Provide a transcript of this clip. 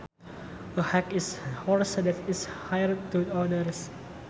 A hack is a horse that is hired to others